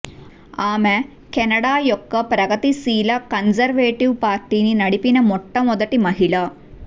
ఆమె కెనడా యొక్క ప్రగతిశీల కన్జర్వేటివ్ పార్టీని నడిపిన మొట్టమొదటి మహిళ